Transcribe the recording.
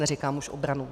Neříkám už obranu.